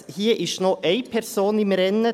Hier ist noch eine Person im Rennen.